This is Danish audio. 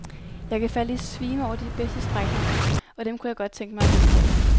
Jeg kan falde i svime over de bedste strækninger, og dem kunne jeg godt tænke mig at gentage.